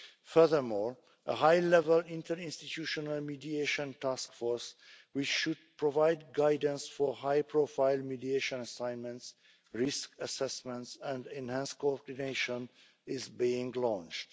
Furthermore, a high level interinstitutional and mediation taskforce which should provide guidance for high profile mediation assignments, risk assessments and enhanced cooperation is being launched.